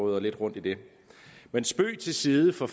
rører lidt rundt i det men spøg til side for